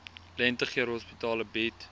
lentegeur hospitale bied